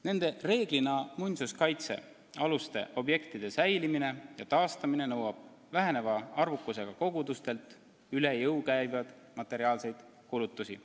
Nende reeglina muinsuskaitsealuste objektide säilimine ja taastamine nõuab väiksemaks muutuvatelt kogudustelt üle jõu käivaid materiaalseid kulutusi.